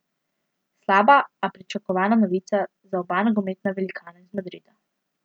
Slaba, a pričakovana novica, za oba nogometna velikana iz Madrida.